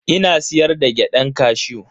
Ina siyar da gyadan kashew.